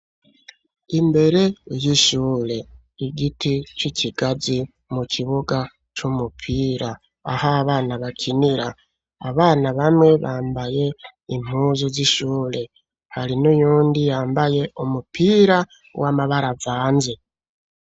Imbere y'ishure igiti c'ikigazi mu kibuga c'umupira aho bana bakinira abana bamwe bambaye impuzu z'ishure hari n'uyundi yambaye umupira w'amabaravanze.